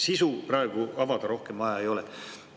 Sisu praegu rohkem avada vaja ei ole.